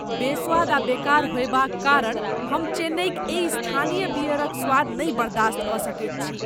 बेस्वाद आ बेकार होएबाक कारण हम चेन्नइक एहि स्थानीय बियरक स्वाद नहि बर्दास्त कऽ सकैत छी।